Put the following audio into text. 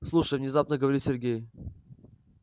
слушай внезапно говорит сергей